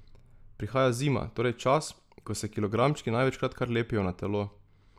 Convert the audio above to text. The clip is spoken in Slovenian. Prihaja zima, torej čas, ko se kilogramčki največkrat kar lepijo na telo.